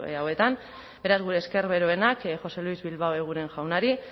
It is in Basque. hauetan beraz gure esker beroenak jose luis bilbao eguren jaunari